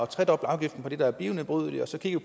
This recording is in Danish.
tredoble afgiften på det der er bionedbrydeligt og så kigger